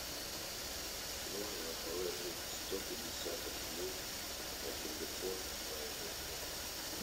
нужно положить сто пятьдесят рублей на телефон моего друга